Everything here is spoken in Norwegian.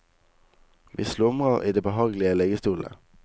Vi slumrer i de behagelige liggestolene.